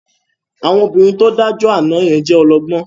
Àwọn obìnrin tó dájọ́ àná yẹn jẹ́ ọlọ́gbọ́n